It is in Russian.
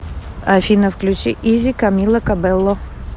афина включи изи камила кабелло